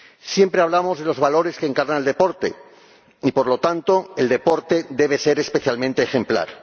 Siempre hablamos de los valores que encarna el deporte y, por lo tanto, el deporte debe ser especialmente ejemplar.